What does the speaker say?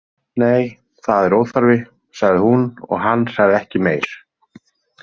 Nei, það er óþarfi, sagði hún og hann sagði ekki meir.